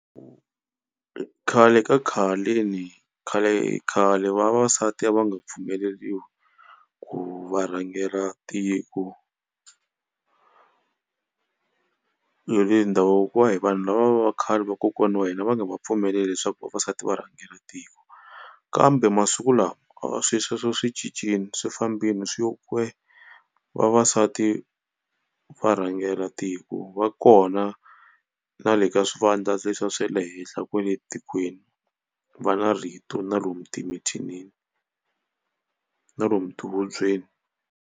khale ka khaleni khale khale vavasati a va nga pfumeleriwi ku va rhangela tiko. ndhavuko wa hina vanhu lava va khale vakokwana wa hina a va nga va pfumeleli leswaku vavasati va rhangela tiko kambe masiku lawa swi cincile swi fambini swi yo nkhwee. Vavasati va rhangela tiko va kona na le ka swivandla swa le henhla kwale tikweni va na rito na lomu timathinini na lomu tihubyeni.